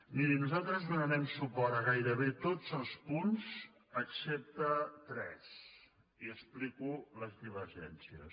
miri nosaltres donarem suport a gairebé tots els punts excepte a tres i explico les divergències